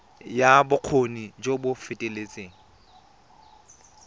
ya bokgoni jo bo feteletseng